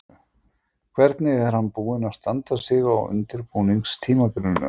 Hvernig er hann búinn að standa sig á undirbúningstímabilinu?